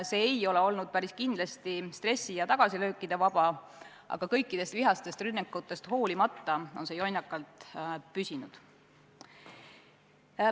See ei ole olnud päris kindlasti vaba stressist ja tagasilöökidest, aga kõikidest vihastest rünnakutest hoolimata on see jonnakalt püsinud.